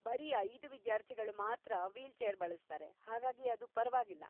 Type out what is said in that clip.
ಬರೀ ಐದು ವಿದಾರ್ಥಿಗಳು ಮಾತ್ರ ವೀಲ್‌ಚೇರ್‌ ಬಳಸ್ತಾರೆ, ಹಾಗಾಗಿ ಅದು ಪರ್ವಾಗಿಲ್ಲ.